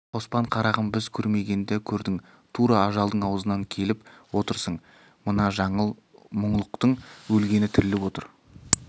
қоспан қарағым біз көрмегенді көрдің тура ажалдың аузынан келіп отырсың мына жаңыл мұңлықтың өлгені тіріліп отыр